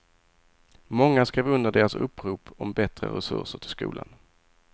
Många skrev under deras upprop om bättre resurser till skolan.